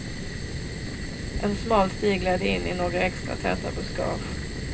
En smal stig ledde in i några extra täta buskage.